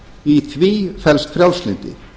í því felst frjálslyndið